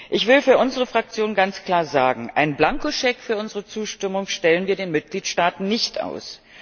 Ich will für unsere Fraktion ganz klar sagen Einen Blankoscheck für unsere Zustimmung stellen wir den Mitgliedstaaten nicht aus.